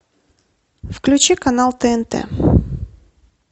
включи канал тнт